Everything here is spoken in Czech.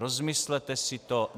Rozmyslete si to.